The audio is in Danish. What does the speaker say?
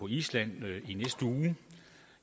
island i næste uge